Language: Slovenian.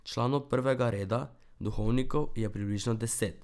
Članov prvega reda, duhovnikov, je približno deset.